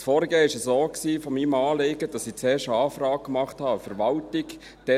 Das Vorgehen meines Anliegens war so, dass ich zuerst einen Antrag an die Verwaltung stellte.